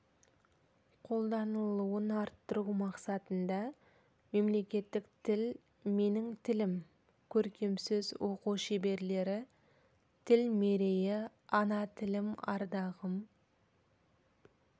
қолданылуын арттыру мақсатында мемлекеттік тіл менің тілім көркемсөз оқу шеберлері тіл мерейі ана тілім ардағым